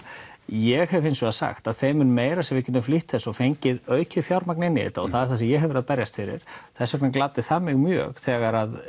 ég hef hins vegar sagt að þeim mun meira sem við getum flýtt þessu og fengið aukið fjármagn inn í þetta og það er það sem ég hef verið að berjast fyrir þess vegna gladdi það mig mjög þegar